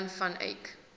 jan van eyck